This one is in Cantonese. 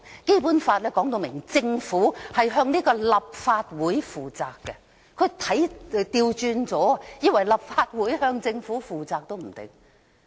《基本法》說明政府須向立法會負責，可能他看錯了，以為是立法會須向政府負責。